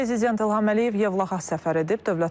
Prezident İlham Əliyev Yevlaxa səfər edib.